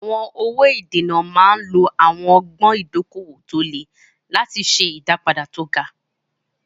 Àwọn owó ìdènà máa ń lo àwọn ọgbọ́n ìdókòwò tó le láti ṣe ìdápadà tó ga.